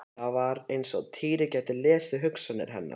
Það var eins og Týri gæti lesið hugsanir hennar.